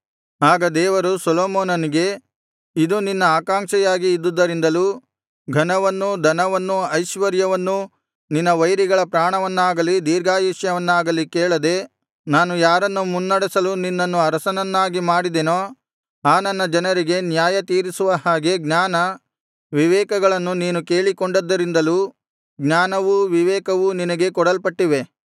ಆಗ ದೇವರು ಸೊಲೊಮೋನನಿಗೆ ಇದು ನಿನ್ನ ಆಕಾಂಕ್ಷೆಯಾಗಿ ಇದ್ದುದರಿಂದಲೂ ಘನವನ್ನೂ ಧನವನ್ನೂ ಐಶ್ವರ್ಯವನ್ನೂ ನಿನ್ನ ವೈರಿಗಳ ಪ್ರಾಣವನ್ನಾಗಲಿ ದೀರ್ಘಾಯುಷ್ಯವನ್ನಾಗಲಿ ಕೇಳದೆ ನಾನು ಯಾರನ್ನು ಮುನ್ನಡೆಸಲು ನಿನ್ನನ್ನು ಅರಸನನ್ನಾಗಿ ಮಾಡಿದೆನೋ ಆ ನನ್ನ ಜನರಿಗೆ ನ್ಯಾಯ ತೀರಿಸುವ ಹಾಗೆ ಜ್ಞಾನ ವಿವೇಕಗಳನ್ನು ನೀನು ಕೇಳಿಕೊಂಡದ್ದರಿಂದಲೂ ಜ್ಞಾನವೂ ವಿವೇಕವೂ ನಿನಗೆ ಕೊಡಲ್ಪಟ್ಟಿವೆ